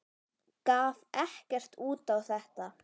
Gaf ekkert út á þetta.